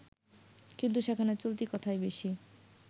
কিন্তু সেখানে চলতি কথাই বেশি